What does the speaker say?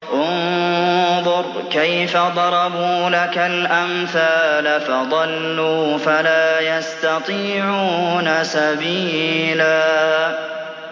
انظُرْ كَيْفَ ضَرَبُوا لَكَ الْأَمْثَالَ فَضَلُّوا فَلَا يَسْتَطِيعُونَ سَبِيلًا